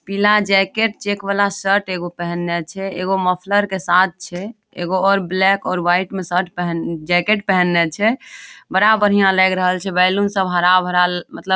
पीला jacket check वाला shirt एगो पहनले छे एगो मोफलर के साथ छे एगो और ब्लैक और वाइट में शर्ट पहन जैकेट पहेनले छे बड़ा बढ़िया लग रहले छे बैलून सब हरा-भरा ल मतलब --